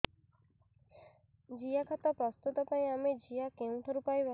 ଜିଆଖତ ପ୍ରସ୍ତୁତ ପାଇଁ ଆମେ ଜିଆ କେଉଁଠାରୁ ପାଈବା